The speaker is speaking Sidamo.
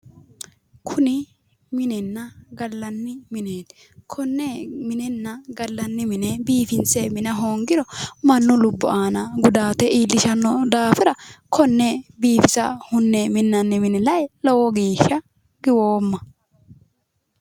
Kuni minenna gallanni mineeti konne minenna gallanni mine biifinse mina hoongiro mannu lubbo aana gudaate iillishanno daafira konne biifisa hunne minnanni mine lae lowo geeshsha giwoomma